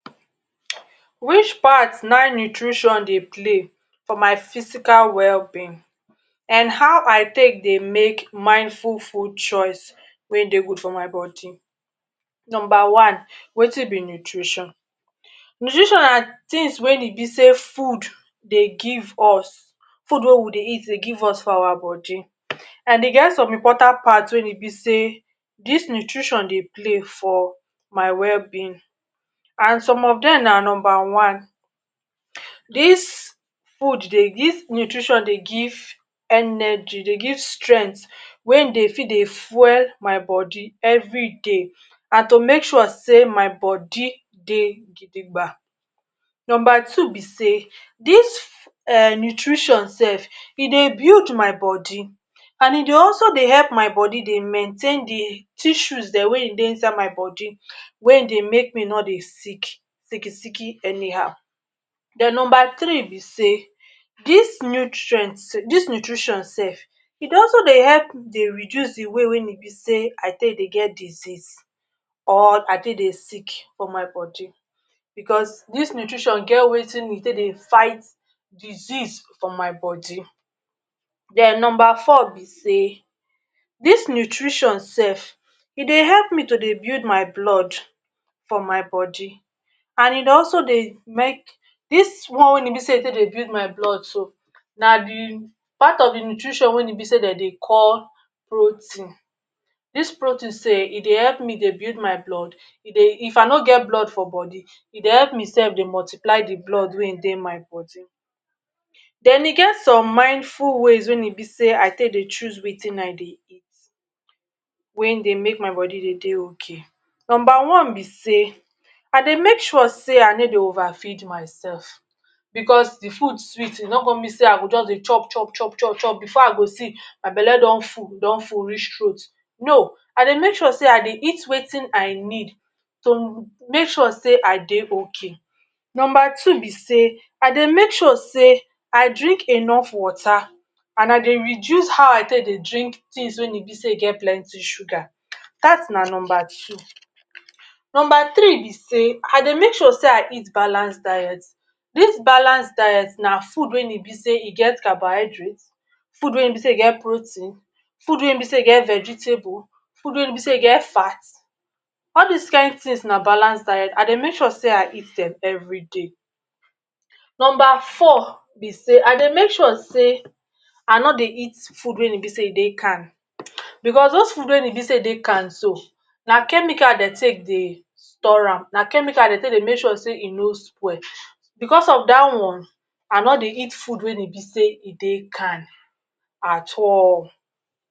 Which part na[um]nutrition dey play for my physical wellbeing and how I take dey make mindful food choice wey dey good for my body? Number one wetin be nutrition? Nutrition na tins wey e be sey food dey give us, food wey we dey eat dey give us for our body and e get some important part wey e be sey dis nutrition dey play for my wellbeing. And some of dem na number one dis food, dis nutrition dey give energy, dey give strength wey[um]dey fit dey fuel my body every day and to make sure sey my body dey gidiga. Number two be sey dis um nutrition self e dey build my body and e dey also dey help my body dey maintain di tissues dem wey[um]dey inside my body wey dey make me no dey sick, sick sick any how. Den number three be sey dis nutrient, dis nutrition self e dey also dey help dey reduce di way wey e be sey I take dey get disease or I take dey sick for my body because dis nutrition get wetin we take dey fight disease for my body. Den number four be sey, dis nutrition self e dey help me to dey build my blood for my body and e dey also dey make dis one wey e take dey build my blood so na di part of di nutrition wey be sey dem dey call protein, dis protein sey e dey help me dey build my blood, e dey if I no get blood for body, e dey help me self dey multiply di blood wey[um]dey my body. Den e get some mindful ways wey e be sey I take dey choose wetin I dey eat wey dey make my body dey dey okay, number one be sey I dey make sure sey I no dey over feed myself, because di food sweet e no come mean sey I go jus dey chop, chop, chop, chop before I go see my belle don full, e don full reach throat no, I dey make sure sey I dey eat wetin I need to make sure sey I dey okay. Number two be sey I dey make sure sey I drink enough water and I dey reduce how I take dey drink tins wey e be sey e get plenty sugar dat na number two. Number three be sey, I dey make sure sey I eat balance diet, dis balanced diet na food wey e be sey e get carbohydrate, food wey e be sey e get protein, food wey be sey e get vegetable, food wey e be sey e get fat, all dis kain tins na balanced diet, I dey make sure sey I eat dem every day. Number four be sey, I dey make sure sey I no dey eat food wey e be sey e dey can because dose food wey e be sey e dey can so na chemical dem take dey store am, na chemical dem take dey make sure sey e no spoil because of dat one I no dey eat food wey e be sey e dey can at all.